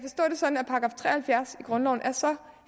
halvfjerds i grundloven er så